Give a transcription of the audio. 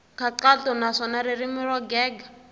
nkhaqato naswona ririmi ro gega